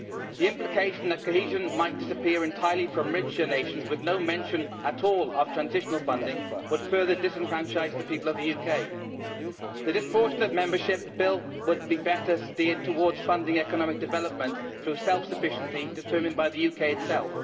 The implication that cohesion might disappear entirely from richer nations with no mention at all of transitional funding would further disenfranchise the people of the UK. The disproportionate membership bill would be better steered towards funding economic development through self sufficiency determined by the UK itself.